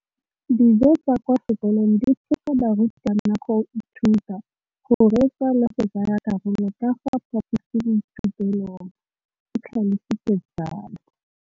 Dijo tsa kwa sekolong dithusa barutwana go ithuta, go reetsa le go tsaya karolo ka fa phaposiborutelong, o tlhalositse jalo.